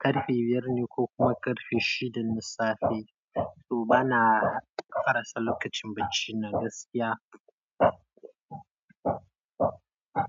ƙarfe biyar ne ko kuma ƙarfe shida na safe. To ba na hadasa lokacin bacci na gaskiya.